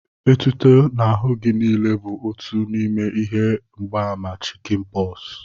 Etuto n'ahụ gị niile bụ otu n'ime ihe mgbaàmà chịkịn pọs